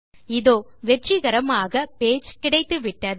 இதோ வெற்றிகரமாக பேஜ் கிடைத்துவிட்டது